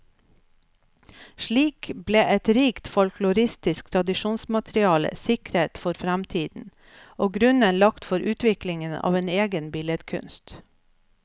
Slik ble et rikt folkloristisk tradisjonsmateriale sikret for fremtiden, og grunnen lagt for utviklingen av en egen billedkunst.